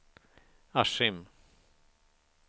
Askim